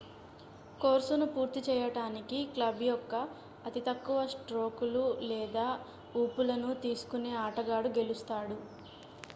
కోర్సును పూర్తి చేయడానికి క్లబ్ యొక్క అతి తక్కువ స్ట్రోకులు లేదా ఊపులను తీసుకునే ఆటగాడు గెలుస్తాడు